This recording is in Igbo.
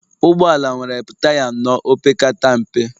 Ụgbọ ala nwere taya anọ opekata mpe